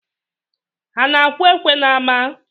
Ha na-akwụ ekwe n’ama?